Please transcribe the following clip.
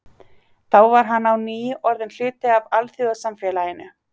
Þá var hann á ný orðinn hluti af alþjóðasamfélaginu.